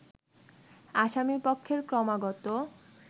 আসামিপক্ষের ক্রমাগত